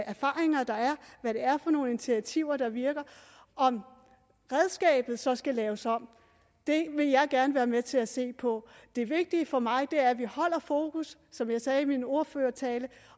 erfaringer der er hvad det er for nogle initiativer der virker om redskabet så skal laves om vil jeg gerne være med til at se på det vigtige for mig er at vi holder fokus som jeg sagde i min ordførertale